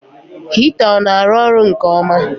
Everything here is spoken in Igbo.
Hita ọ na arụ ọrụ nke ọma?